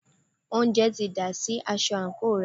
oúnjẹ ti dà sí aṣọ àńkò rẹ̀.